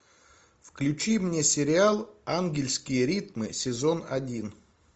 включи мне сериал ангельские ритмы сезон один